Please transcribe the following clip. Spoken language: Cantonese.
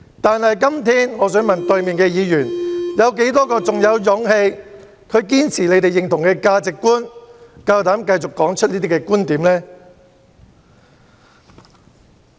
但我想問對面的議員，有多少人在今天仍然有勇氣堅持他們認同的價值觀，膽敢繼續說出這些觀點呢？